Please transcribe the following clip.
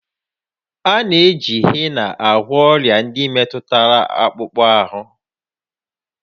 A na-eji hena agwọ ọrịa ndị metụtara akpụkpọ ahụ